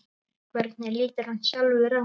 Hvernig lítur hann sjálfur á?